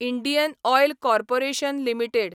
Indian oil corporation limited